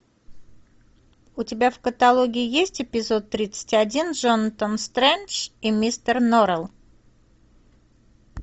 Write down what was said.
у тебя в каталоге есть эпизод тридцать один джонатан стрендж и мистер норрелл